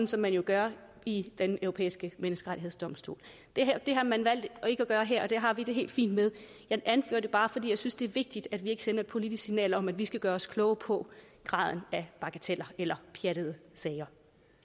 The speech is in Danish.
som man jo gør i den europæiske menneskerettighedsdomstol det har man valgt ikke at gøre her og det har vi det helt fint med jeg anfører det bare fordi jeg synes det er vigtigt at vi ikke sender et politisk signal om at vi skal gøre os kloge på graden af bagateller eller pjattede sager